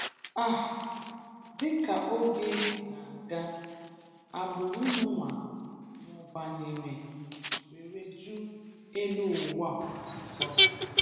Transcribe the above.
um Dịka oge na-aga, agbụrụ Noah mụbanyere were jụ́ elụ ụ́wa ọzọ.